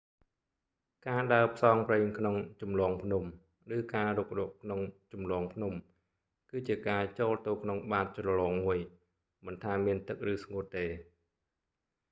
ការដើរផ្សងព្រេងក្នុងជម្លងភ្នំ ឬ៖ ការរុករកក្នុងជម្លងភ្នំ គឺជាការចូលទៅក្នុងបាតជ្រលងមួយ មិនថាមានទឹកឬស្ងួតទេ